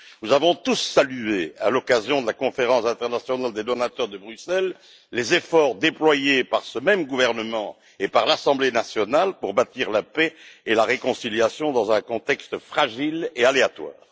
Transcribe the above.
Nous avons tous salué, à l'occasion de la conférence internationale des donateurs, qui s'est tenue à Bruxelles, les efforts déployés par ce même gouvernement et par l'assemblée nationale pour bâtir la paix et la réconciliation dans un contexte fragile et aléatoire.